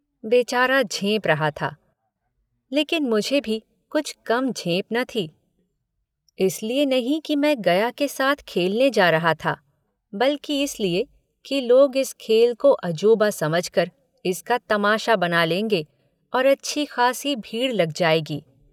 बेचारा झेंप रहा था लेकिन मुझे भी कुछ कम झेंप न थी इसलिए नहीं कि मैं गया के साथ खेलने जा रहा था बल्कि इसलिए कि लोग इस खेल को अजूबा समझकर इसका तमाशा बना लेंगे और अच्छी खासी भीड़ लग जायगी।